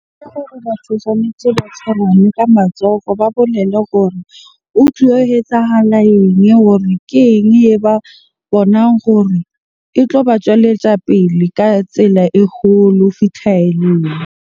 Ke gore batho tshwanetse ba tshwarane ka matsoho. Ba bolele gore ho etsahala eng? Hore keng e ba bonang hore e tloba tswelletsa pele ka tsela e kgolo ho .